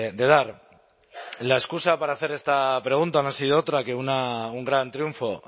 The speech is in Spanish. de dar la excusa para hacer esta pregunta no ha sido otra que un gran triunfo